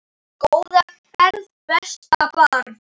Góða ferð besta barn.